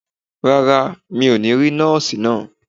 Rárá, mi ò ní rí Nọ́ọ̀sì náà.